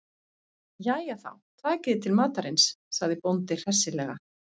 Jæja þá, takiði til matarins, sagði bóndi hressilega.